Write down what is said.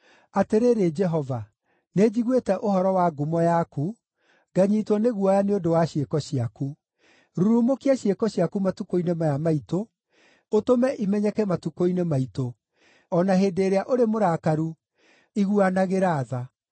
Atĩrĩrĩ Jehova, nĩnjiguĩte ũhoro wa ngumo yaku, nganyiitwo nĩ guoya nĩ ũndũ wa ciĩko ciaku. Rurumũkia ciĩko ciaku matukũ-inĩ maya maitũ, ũtũme imenyeke matukũ-inĩ maitũ; o na hĩndĩ ĩrĩa ũrĩ mũrakaru, iguanagĩra tha.